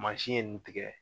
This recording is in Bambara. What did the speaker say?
Mansin ye nin tigɛ